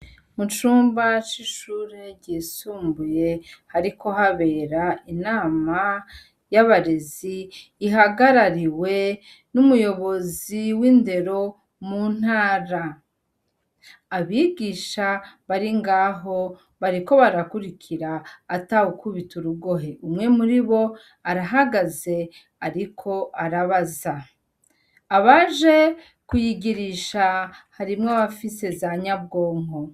Mucumba c'ishure ryisumbuye hariko habera inama y'abarezi ihagarariwe n'umuyobozi w'indero mu ntara, abigisha bari ngaho bariko barakurikira ata wukubita urugohe umwe muri bo arahagaze ariko arabaza, abaje kuyigirisha harimwo abafise za nyabwonko.